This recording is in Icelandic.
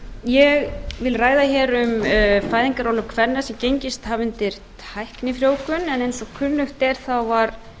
ég vil ræða hér um fæðingarorlof kvenna sem gengist hafa undir tæknifrjóvgun en eins og kunnugt er þá var